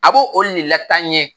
A b'o o nin la tan nɲɛ